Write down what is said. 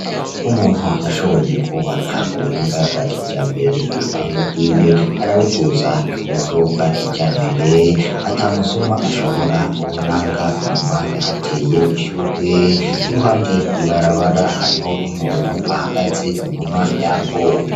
Umuntu yashoboye kubaka k'ubuhinga bwa kijambere urupangu rwiwe araruduza kuburyo bwa kijambere ata musuma ashobora kurunanga, inyuma yahateye ishurwe, iruhande y'ibarabara hariho n'umuntu ahagaze inyuma yago.